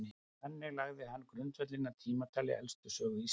þannig lagði hann grundvöllinn að tímatali elstu sögu íslands